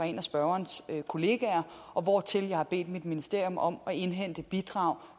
en spørgerens kollegaer og hvortil jeg har bedt mit ministerium om at indhente bidrag